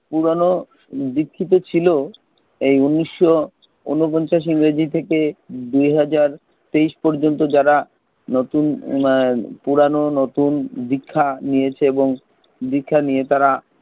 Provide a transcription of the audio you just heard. পুরনো দীক্ষিত ছিলো, এই উনিশ শো উনো পঞ্ছাস ইংরেজি থেকে দুই হাজার তেইশ পর্যন্ত যারা নতুন নয় পুরানো নতুন দীক্ষা নিয়েছে এবং দীক্ষা নিয়ে তারা,